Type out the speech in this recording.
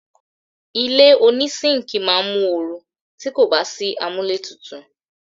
Ilé oní síńkì máa mu oru ti kò bá sí amúlé tutù.